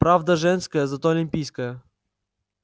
правда женская зато олимпийская